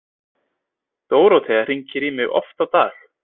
Dórótea hringir í mig oft á dag.